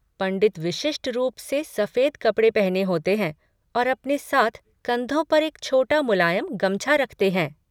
पंडित विशिष्ट रूप से सफ़ेद कपड़े पहने होते हैं और अपने साथ कंधों पर एक छोटा मुलायम गमछा रखते हैं।